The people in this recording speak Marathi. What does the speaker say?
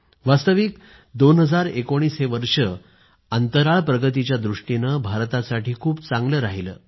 वास्तविक 2019 हे वर्ष अंतराळ प्रगतीच्या दृष्टीनं भारतासाठी खूप चांगलं राहिलं आहे